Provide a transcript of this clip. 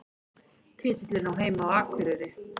Titillinn á heima á Akureyri